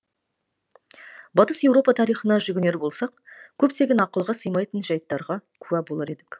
батыс еуропа тарихына жүгінер болсақ көптеген ақылға сыймайтын жайттарға куә болар едік